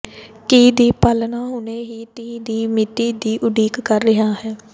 ਕੀ ਦੀ ਪਾਲਣਾ ਹੁਣੇ ਹੀ ਤਹਿ ਦੀ ਮਿਤੀ ਦੀ ਉਡੀਕ ਕਰ ਰਿਹਾ ਹੈ